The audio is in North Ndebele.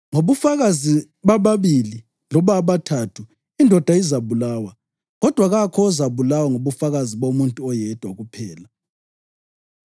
Ngobufakazi bababili loba abathathu indoda izabulawa, kodwa kakho ozabulawa ngobufakazi bomuntu oyedwa kuphela.